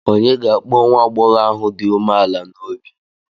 Ònye ga-akpọ nwa agbọghọ ahụ dị umeala n'obi?